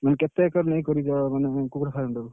ମାନେ କେତେ ଏକର ନେଇ କରିବ ମାନେ କୁକୁଡ଼ା farm କୁ?